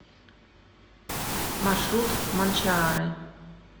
маршрут манчаары